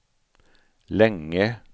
länge